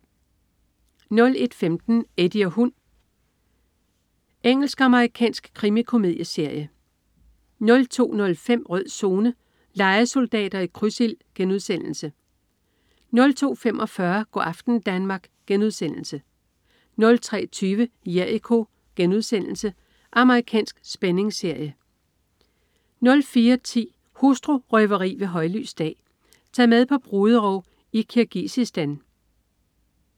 01.15 Eddie og hund. Engelsk-amerikansk krimikomedieserie 02.05 Rød Zone: Lejesoldater i krydsild* 02.45 Go' aften Danmark* 03.20 Jericho.* Amerikansk spændingsserie 04.10 Hustru-røveri ved højlys dag. Tag med på bruderov i Kirgisistan